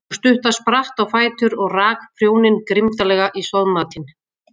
Sú stutta spratt á fætur og rak prjóninn grimmdarlega í soðmatinn.